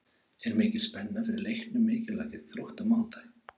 Er mikil spenna fyrir leiknum mikilvæga gegn Þrótti á mánudag?